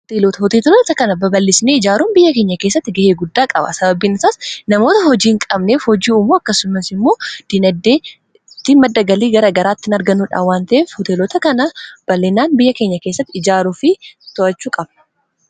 Hoteelota hooteelota kana babal'isinii ijaaruun biyya keenya keessatti ga'ee guddaa qaba sababiin isaas namoota hojii hin qabneef hojii umuu akkasumas immoo dinaddee itti maddagalii gara garaattiin arganuudhaa wanteef hoteelota kana bal'inaan biyya keenya keessatti ijaaruu fi to'achuu qaba